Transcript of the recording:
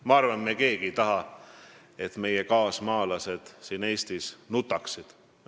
Ma arvan, et me keegi ei taha, et meie kaasmaalased siin Eestis nutaksid.